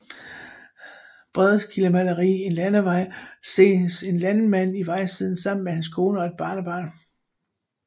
Brendekildes maleri En Landevej ses en vejmand i vejsiden sammen med hans kone og et barnebarn